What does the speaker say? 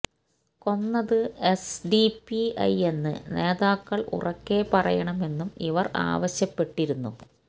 കൊന്നത് S D P ഐയെന്ന് നേതാക്കള് ഉറക്കെ പറയണമെന്നും ഇവര് ആവശ്യപ്പെട്ടിരുന്നു